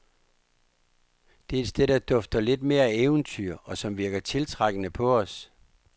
Det er et sted, der dufter lidt mere af eventyr, og som virker tiltrækkende på os.